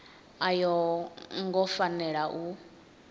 a yo ngo fanela u